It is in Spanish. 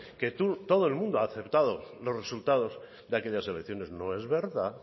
que todo el mundo ha aceptado los resultados de aquellas elecciones no es verdad